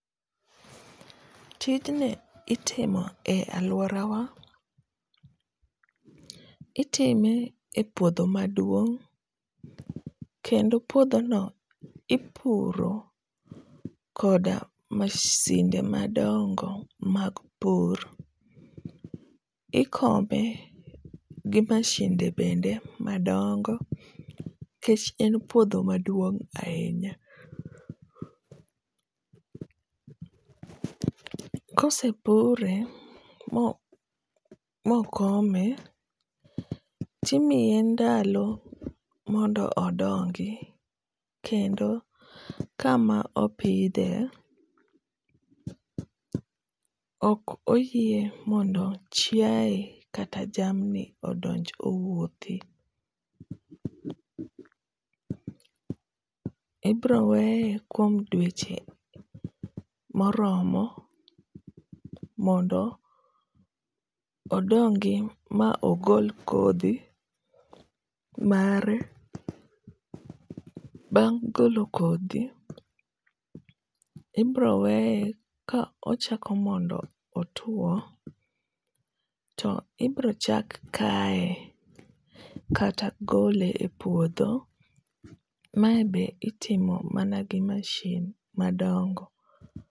Tijni itimo e aluorawa, itime e puodho maduong' kendo puodhono ipuro koda masinde madongo mag pur. Ikome gi masinde bende madongo nikech en puodho maduong' ahinya. Ka osepure ma ma okome to imiye ndalo mondo odongi kendo kama opidhe okoyie mondo chiaye kata jamniodonj owuothi. Ibiro weye kuom dweche moromo mondo odongi ma ogol kodhi mare bang' golo kodhi ibiro weye ka ochako mondo otuo to ibiro chak kaye kata gole e puodho mae be itimo mana gi mashin madongo